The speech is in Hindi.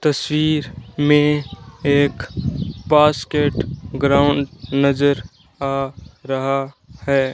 तस्वीर में एक बास्केट ग्राउंड नजर आ रहा है।